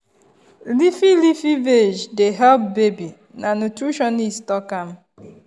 leafy leafy veg dey help baby na nutritionist talk am.